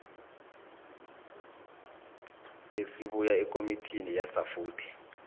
esibuya ekomitini yasafuthi